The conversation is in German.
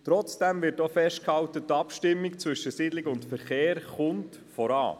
Trotzdem wird auch festgehalten, dass die Abstimmung zwischen Siedlung und Verkehr voranschreitet.